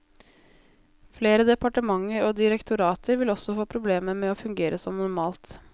Flere departementer og direktorater vil også få problemer med å fungere som normalt.